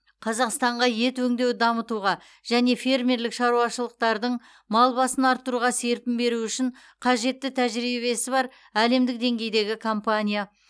қазақстанға ет өңдеуді дамытуға және фермерлік шаруашылықтардың мал басын арттыруға серпін беруі үшін қажетті тәжірибесі бар әлемдік деңгейдегі компания